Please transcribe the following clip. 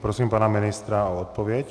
Prosím pana ministra o odpověď.